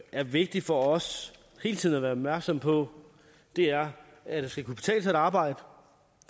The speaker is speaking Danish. er vigtige for os hele tiden at være opmærksomme på det er at det skal kunne betale sig at arbejde